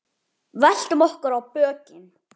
Veltum okkur á bökin.